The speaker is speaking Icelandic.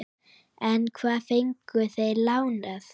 En hvað fengu þeir lánað?